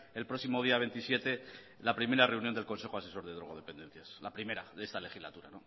el próximo día veintisiete la primera reunión del consejo asesor de drogodependencias la primera de esta legislatura